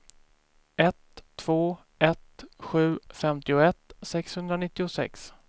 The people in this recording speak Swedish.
ett två ett sju femtioett sexhundranittiosex